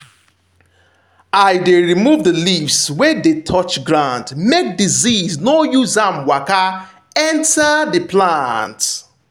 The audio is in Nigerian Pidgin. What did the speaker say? i dey remove the leaves wey dey touch ground make disease no use am waka enter the plant.